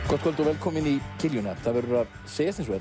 gott kvöld og velkomin í kiljuna það verður að segjast eins og